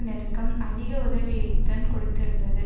நெருக்கம் அதிக உதவியைத்தன் கொடுத்திருந்தது